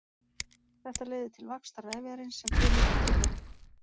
Þetta leiðir til vaxtar vefjarins sem frumurnar tilheyra.